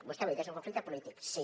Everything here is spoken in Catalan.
vostè ho ha dit és un conflicte polític sí